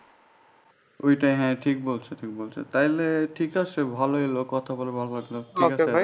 ঐটাই হ্যাঁ ঠিক বলছো তুমি তাইলে ঠিক আছে ভালো হইলো কথা বলবো আবার